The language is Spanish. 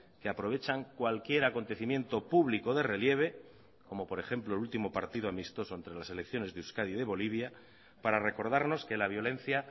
que aprovechan cualquier acontecimiento público de relieve como por ejemplo el último partido amistoso entre las selecciones de euskadi y de bolivia para recordarnos que la violencia